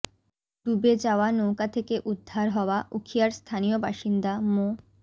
ডুবে যাওয়া নৌকা থেকে উদ্ধার হওয়া উখিয়ার স্থানীয় বাসিন্দা মো